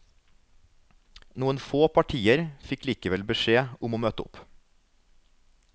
Noen få partier fikk likevel beskjed om å møte opp.